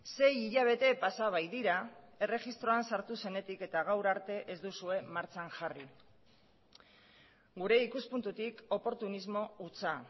sei hilabete pasa baitira erregistroan sartu zenetik eta gaur arte ez duzue martxan jarri gure ikuspuntutik oportunismo hutsa